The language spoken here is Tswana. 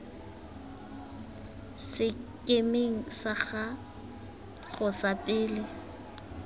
sekemeng sa gago sa pele